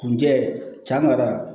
Kunjɛ camara